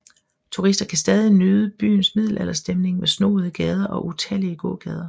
Turister kan stadig nyde byens middelalderstemning med snoede gader og utallige gågader